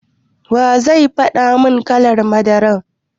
Wa zai faɗa mun kalar madara?